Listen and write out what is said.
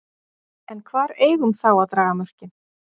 En hvar eigum þá að draga mörkin?